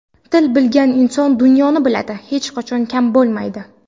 Til bilgan inson dunyoni biladi, hech qachon kam bo‘lmaydi.